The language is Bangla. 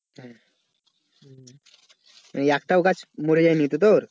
এই একটাও গাছ মরে যায়নি তো তোর?